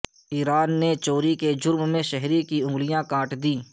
ایران نے چوری کے جرم میں شہری کی انگلیاں کاٹ دیں